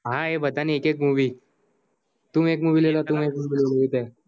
હાં અએ બધા ની એક એક movie